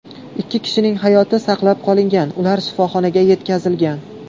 Ikki kishining hayoti saqlab qolingan, ular shifoxonaga yetkazilgan.